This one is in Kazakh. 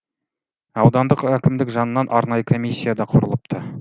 аудандық әкімдік жанынан арнайы комиссия да құрылыпты